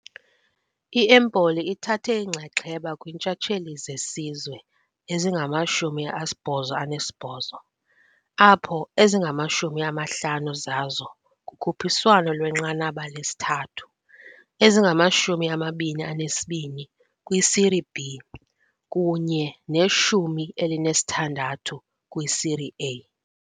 I-Empoli ithathe inxaxheba kwiintshatsheli zesizwe ezingama-88 apho ezingama-50 zazo kukhuphiswano lwenqanaba lesithathu, ezingama-22 kwiSerie B kunye ne-16 kwiSerie A.